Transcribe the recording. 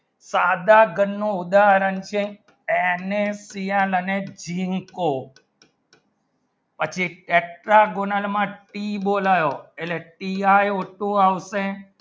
સાંધા ઘણ નો ઉદાહરણ છે Na પિયા મને જિમ કો પછી extra zonal માં કી બોલાવા એને ટીઆઈ હોતો આવશે